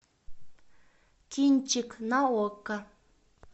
кинчик на окко